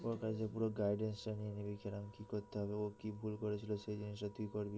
ওর কাছ দিয়ে পুরো guidance টা নিয়ে নিবি কিরম কি করতে হবে ও কি ভুল করেছিল সেই জিনিসটা তুই করবিনা